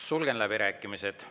Sulgen läbirääkimised.